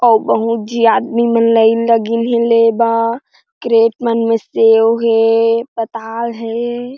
अउ बहुत झी आदमी मन लाइन लागिन हे ले ब क्रैट मन म सेव हे पताल हे |